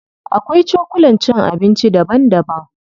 Akwai cokulan cin abinci daban daban.